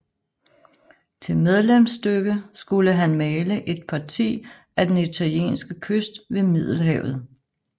Til medlemsstykke skulle han male Et Parti af den italienske Kyst ved Middelhavet